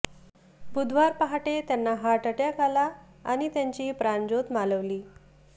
बुधवार पहाटे त्यांना हार्टअटॅक आला आणि त्यांची प्राणज्योत मालवली